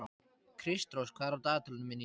Kristrós, hvað er á dagatalinu mínu í dag?